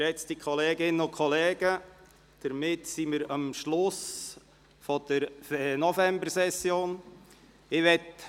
Geschätzte Kolleginnen und Kollegen, damit sind wir am Schluss der Novembersession angelangt.